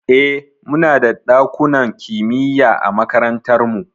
Eh, muna da ɗakunan kimiya a makarantar mu.